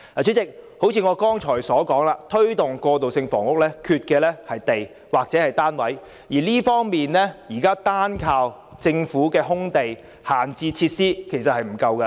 主席，正如我剛才所說，推動過渡性房屋欠缺的是土地或單位，現時單靠政府的空置用地及閒置設施實不足夠。